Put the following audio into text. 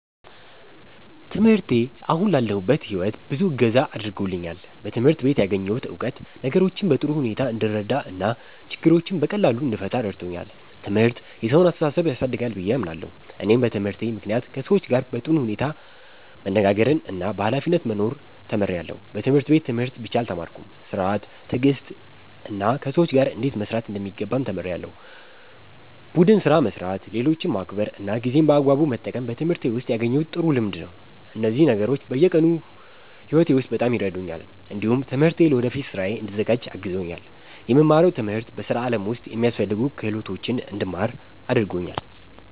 ትምህርቴ አሁን ላለሁበት ሕይወት ብዙ እገዛ አድርጎልኛል። በትምህርት ቤት ያገኘሁት እውቀት ነገሮችን በጥሩ ሁኔታ እንድረዳ እና ችግሮችን በቀላሉ እንድፈታ ረድቶኛል። ትምህርት የሰውን አስተሳሰብ ያሳድጋል ብዬ አምናለሁ። እኔም በትምህርቴ ምክንያት ከሰዎች ጋር በጥሩ ሁኔታ መነጋገርና በኃላፊነት መኖር ተምሬያለሁ። በትምህርት ቤት ትምህርት ብቻ አልተማርኩም፤ ሥርዓት፣ ትዕግስትና ከሰዎች ጋር እንዴት መስራት እንደሚገባም ተምሬያለሁ። ቡድን ስራ መስራት፣ ሌሎችን ማክበር እና ጊዜን በአግባቡ መጠቀም በትምህርቴ ውስጥ ያገኘሁት ጥሩ ልምድ ነው። እነዚህ ነገሮች በየቀኑ ሕይወቴ ውስጥ በጣም ይረዱኛል። እንዲሁም ትምህርቴ ለወደፊት ሥራዬ እንድዘጋጅ አግዞኛል። የምማረው ትምህርት በሥራ ዓለም ውስጥ የሚያስፈልጉ ክህሎቶችን እንድማር አድርጎኛል።